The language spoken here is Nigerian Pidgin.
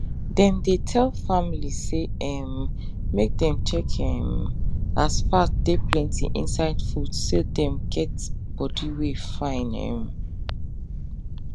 dem dey tell family say um make dem check um as fat de plenty inside food so dem get body wen fine um